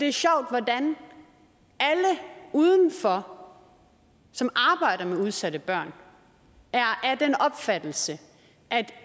er sjovt hvordan alle udenfor som arbejder med udsatte børn er af den opfattelse at